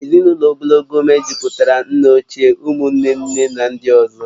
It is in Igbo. Ezinụlọ ogologo mejupụtara nna ochie, ụmụ nne nne na ndị ọzọ